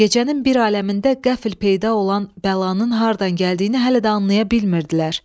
Gecənin bir aləmində qəfil peyda olan bəlanın haradan gəldiyini hələ də anlaya bilmirdilər.